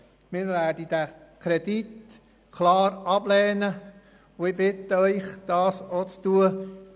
Wir werden den Kredit klar ablehnen, und ich bitte Sie, dies auch zu tun.